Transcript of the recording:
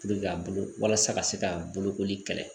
ka bolo walasa ka se ka bolokoli kɛlɛ